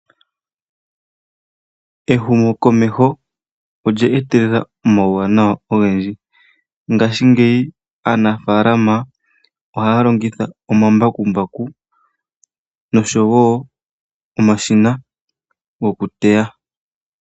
Ehumo komeho olyetelela oma wuwa nawa ogendji, ngashi ngeyi aanafalama ohayalongitha omambakumbaku noshowo omashina gokuteya.